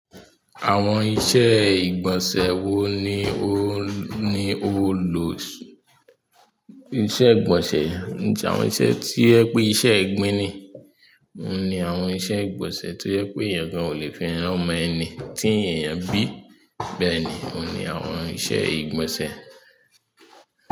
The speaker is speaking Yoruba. Àwọn iṣẹ́ ìgbọ̀nsẹ̀ wo ni ó ni ó lò ìṣe ìgbọ̀nsẹ̀? Ki n se àwọn iṣẹ́ tí ẹ pé iṣẹ́ ẹgbin ni? Ó ní àwọn iṣẹ́ ìgbọ̀nsẹ̀ tó ẹ pé èèyàn gan ò lè fi lomọ ẹni tí èèyàn bí. Bẹ́ẹ̀ ni, óun ní àwọn iṣẹ́ ìgbọ̀nsẹ̀.